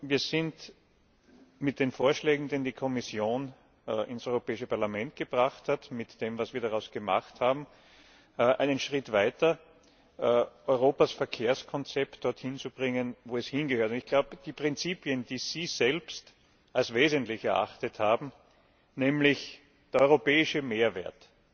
Wir sind mit den Vorschlägen, die die Kommission ins Parlament gebracht hat, mit dem, was wir daraus gemacht haben, einen Schritt weiter, Europas Verkehrskonzept dorthin zu bringen, wo es hingehört. Die Prinzipien, die Sie selbst als wesentlich erachtet haben nämlich der europäische Mehrwert,